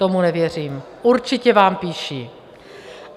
Tomu nevěřím, určitě vám píší.